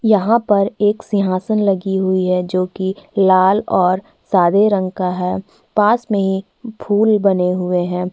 यहाँ पर एक सिंहासन लगी हुई है जोकि लाल और सादे रंग का है पास में ही फूल बने हुए हैं।